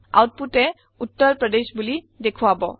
আওতপুতে উত্তাৰ প্ৰদেশ বুলি দেখুৱাব